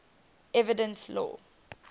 evidence law